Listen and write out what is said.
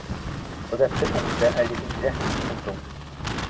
På dette punktet er vi sikre. punktum